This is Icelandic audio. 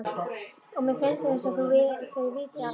Og mér finnst einsog þau viti allt.